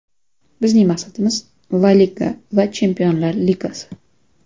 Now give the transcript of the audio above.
Bizning maqsadimiz – La Liga va Chempionlar Ligasi.